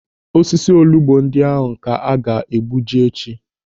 Osisi olugbu ndị ahụ ka a ga-egbuji echi.